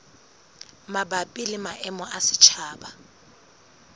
mabapi le maemo a setjhaba